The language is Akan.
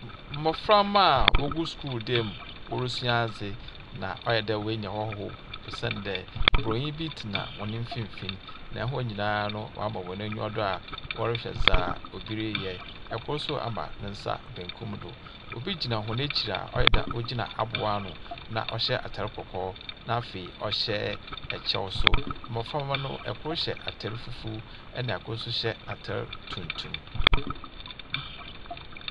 Mbɔframba a wogu school dan mu, wɔresua adze, na ɔyɛ dɛ woenya hɔhoɔ, osian dɛ buroni bi tena hɔn mfimfin, na hɔn nyinaa no, wɔama hɔn enyiwa do a wɔrehwɛ dzea obi reyɛ. Kor nso ama ne nsa benkum do. Obi gyina hɔn ekyir a ɔyɛ dɛ ogyina aboboano na ɔhyɛ atar kɔkɔɔ, na afei ɔhyɛ kyɛw nso. Mbɔframba no, kor hyɛ atar fufuw, ɛnna kor nso hyɛ atar tuntum.